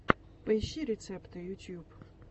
поищи рецепты ютьюб